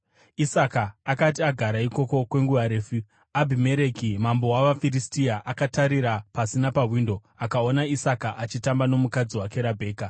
Isaka akati agara ikoko kwenguva refu, Abhimereki mambo wavaFiristia akatarira pasi napawindo akaona Isaka achitamba nomukadzi wake Rabheka.